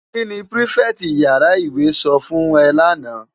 Ki ni pirifèti iyàrá iwé sò fún è làná?